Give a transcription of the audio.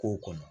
K'o kɔnɔ